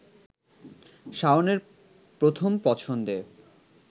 শাওনের প্রথম পছন্দে